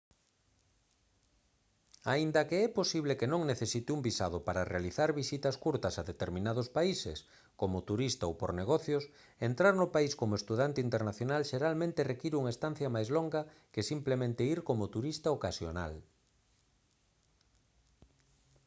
aínda que é posible que non necesite un visado para realizar visitas curtas a determinados países como turista ou por negocios entrar no país como estudante internacional xeralmente require unha estancia máis longa que simplemente ir como turista ocasional